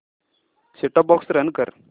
set top box run कर